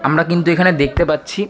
আমরা কিন্তু এখানে দেখতে পাচ্ছি--